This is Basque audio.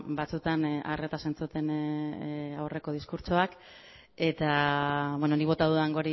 batzutan arretaz entzuten aurreko diskurtsoak eta nik bota dudan